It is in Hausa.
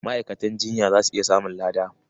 Ma'aikatan jinya za su iya samun lada.